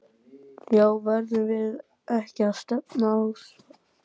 Já verðum við ekki að stefna að því?!